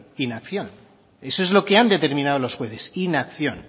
inacción eso es lo que han determinado los jueces inacción